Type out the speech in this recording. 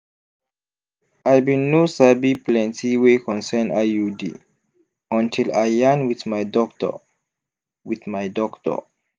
i bin no sabi plenti wey concern iud until i yarn wit my doctor wit my doctor